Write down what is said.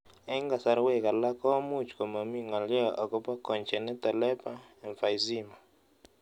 Eng' kasarwek alak ko much komami ng'lyo akopo congenital labour emphysema